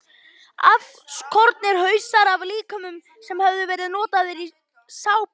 Afskornir hausar af líkömum sem höfðu verið notaðir í sápur.